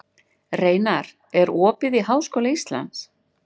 Reinar, er opið í Háskóla Íslands?